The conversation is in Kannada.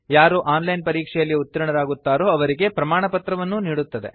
ಯಾರು ಆನ್ ಲೈನ್ ಪರೀಕ್ಷೆಯಲ್ಲಿ ಉತ್ತೀರ್ಣರಾಗುತ್ತಾರೋ ಅವರಿಗೆ ಪ್ರಮಾಣಪತ್ರವನ್ನೂ ನೀಡುತ್ತದೆ